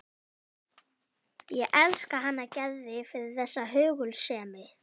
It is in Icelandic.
Ég elska hana Gerði fyrir þessa hugulsemi.